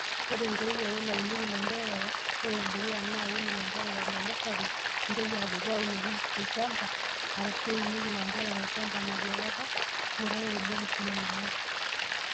Nkoitoi aree naunieki ilanderera:Ore enedukuya naa aaun ilanterera te nasari nintoki adotu aunoki olchamba, arashu iunoki ilanterera olchamba nabokataa, ng'urai orbokis liong'wan.